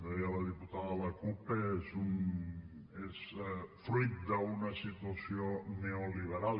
deia la diputada de la cup que és fruit d’una situació neoliberal